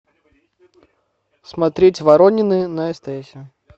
смотреть воронины на стс